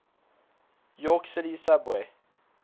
york city subway